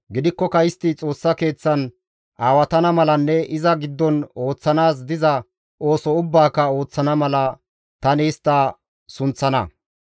Gidikkoka istti Xoossa Keeththan aawatana malanne iza giddon ooththanaas diza ooso ubbaaka ooththana mala, tani istta sunththana.